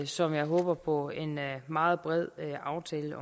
som jeg håber på en meget bred aftale